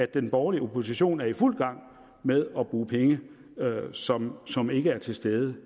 den borgerlige opposition er i fuld gang med at bruge penge som som ikke er til stede